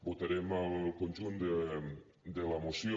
votarem el conjunt de la moció